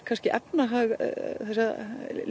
efnahag þessara